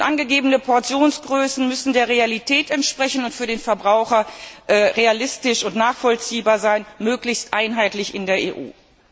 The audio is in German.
Angegebene Portionsgrößen müssen der Realität entsprechen und für den Verbraucher realistisch und nachvollziehbar sein, möglichst einheitlich in der EU.